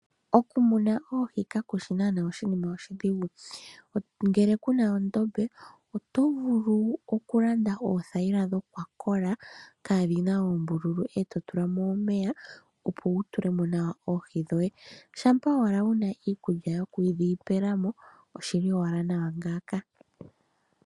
Okumuna oohi kaku shi naanaa oshinima oshidhigu. Ngele ku na ondombe, oto vulu okulanda oothayila dhokwakola kaadhi na oombululu, e to tula mo omeya, opo wu tule mo nawa oohi dhoye. Shampa owala wu na iikulya yokudhi pela mo, oshi li owala nawa ngaaka.